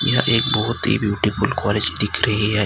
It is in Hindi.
यह एक बहोत ही ब्यूटीफुल कॉलेज दिख रही है।